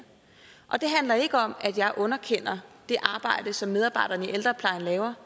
og det handler ikke om at jeg underkender det arbejde som medarbejderne i ældreplejen laver